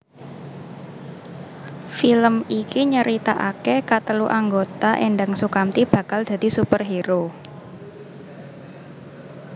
Film iki nyeritakake katelu anggota Endang Soekamti bakal dadi superhero